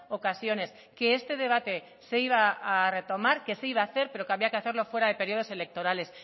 ocasiones que este debate se iba a retomar que se iba a hacer pero que había que hacerlo fuera de periodos electorales